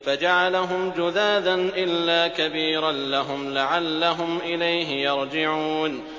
فَجَعَلَهُمْ جُذَاذًا إِلَّا كَبِيرًا لَّهُمْ لَعَلَّهُمْ إِلَيْهِ يَرْجِعُونَ